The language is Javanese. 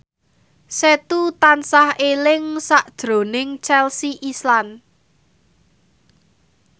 Setu tansah eling sakjroning Chelsea Islan